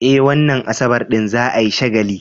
Eh, wannan Asabar din za a yi shagalin.